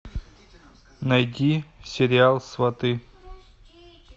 найди сериал сваты